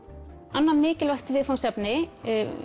annað mikilvægt viðfangsefni